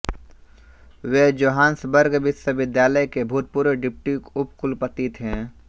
वे Johannesburg विश्वविद्यालय के भूतपूर्व डिप्टी उपकुलपति थे